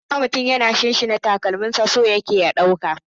Idan ka ga mutum yana shinshina/sinsina takalami, so yake ya ɗauka.